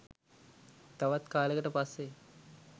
තවත් කාලෙකට පස්සෙ